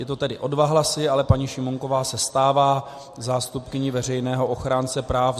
Je to tedy o dva hlasy, ale paní Šimůnková se stává zástupkyní Veřejného ochránce práv.